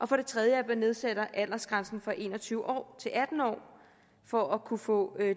for det tredje nedsætter man aldersgrænsen fra en og tyve år til atten år for at kunne få